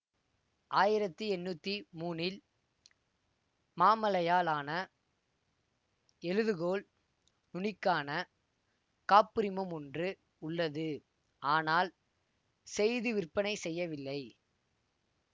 ஆயிரத்தி எண்ணூத்தி மூனில் மாமழையால் ஆன எழுதுகோல் நுனிக்கான காப்புரிமம் ஒன்று உள்ளது ஆனால் செய்து விற்பனை செய்யவில்லை